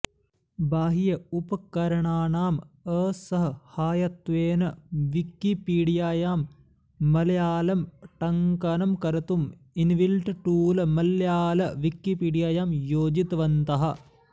बाह्य उपकरणानाम् असह्हायत्वेन विकिपीडियायां मलयाळं टङ्कणं कर्तुं इन्बिल्ट टूळ् मलयाळ विकिपीडियायां योजितवन्तः